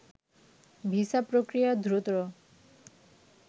visa প্রক্রিয়া দ্রুত